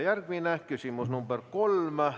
Järgmine küsimus, nr 3.